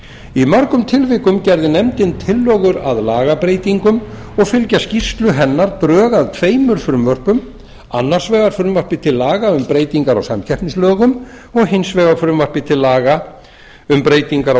í mörgum tillögum gerði nefndin tillögur að lagabreytingum og fylgja skýrslu hennar drög að tveimur frumvörpum annars vegar frumvarpi til laga um breytingar á samkeppnislögum og hins vegar frumvarpi til laga um breytingar á